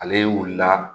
Ale wulila